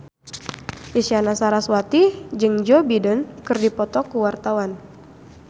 Isyana Sarasvati jeung Joe Biden keur dipoto ku wartawan